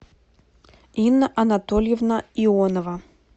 инна анатольевна ионова